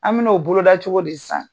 An min'o boloda cogo di san ?